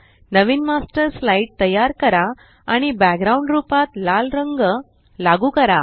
नवीन master slide तयार करा आणि बॅकग्राउंड रूपात लाल रंग लागू करा